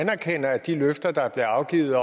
med